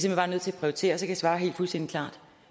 hen bare nødt til at prioritere og så kan jeg svare helt fuldstændig klart